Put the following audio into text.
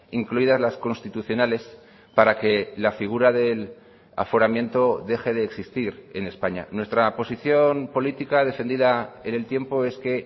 incluidas las constitucionales para que la figura del aforamiento deje de existir en españa nuestra posición política defendida en el tiempo es que